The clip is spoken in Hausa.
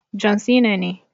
John Cena ne.